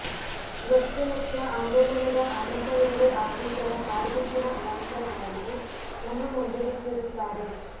ವೃಕ್ಷಲಕ್ಷ ಆಂದೋಲನದ ಅನಂತ ಹೆಗಡೆ ಅಶೀಸರ ಕಾಡ್ಗಿಚ್ಚಿನ ಆವಾಂತರಗಳನ್ನು ನಮ್ಮ ಮುಂದೆ ಬಿಚ್ಚಿಡುತ್ತಾರೆ